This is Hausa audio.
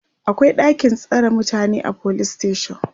akwai ɗakin tsare mutane a police station